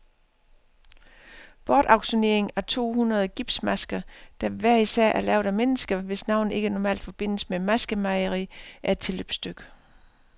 Bortauktioneringen af to hundrede gipsmasker, der hver især er lavet af mennesker, hvis navne ikke normalt forbindes med maskemageri, er et tilløbsstykke.